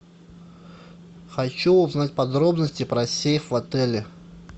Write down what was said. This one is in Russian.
хочу узнать подробности про сейф в отеле